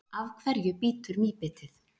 af hverju bítur mýbitið